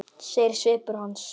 segir svipur hans.